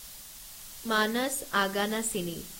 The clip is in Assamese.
মানস আগানাশিনী